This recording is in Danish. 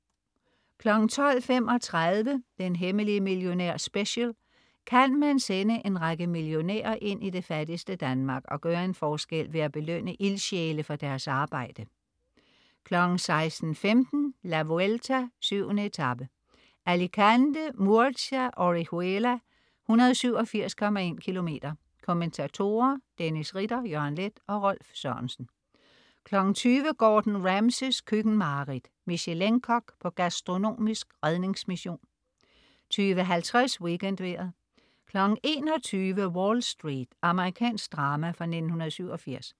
12.35 Den hemmelige millionær Special. Kan man sende en række millionærer ind i det fattigste Danmark og gøre en forskel ved at belønne ildsjæle for deres arbejde? 16.15 La Vuelta: 7. etape, Alicante. Murcia-Orihuela, 187,1 km. Kommentatorer: Dennis Ritter, Jørgen Leth og Rolf Sørensen 20.00 Gordon Ramsays køkkenmareridt. Michelin-kok på gastronomisk redningsmission 20.50 WeekendVejret 21.00 Wall Street. Amerikansk drama fra 1987